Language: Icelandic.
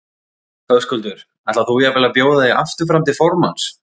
Höskuldur: Ætlar þú jafnvel að bjóða þig aftur fram til formanns?